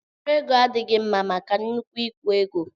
Mkpụrụ ego adịghị mma maka nnukwu ịkwụ ụgwọ.